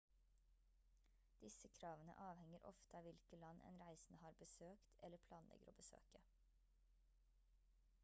disse kravene avhenger ofte av hvilke land en reisende har besøkt eller planlegger å besøke